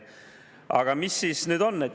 Aga mis siis nüüd on?